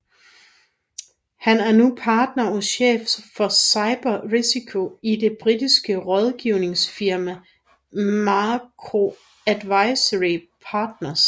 Han er nu partner og chef for cyber risiko i det britiske rådgivningsfirma Macro Advisory Partners